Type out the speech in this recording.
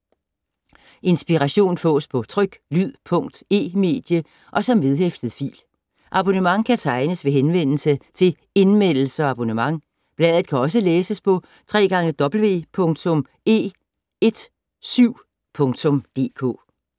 Inspiration fås på tryk, lyd, punkt, e-medie og som vedhæftet fil. Abonnement kan tegnes ved henvendelse til Indmeldelse og abonnement. Bladet kan også læses på www.e17.dk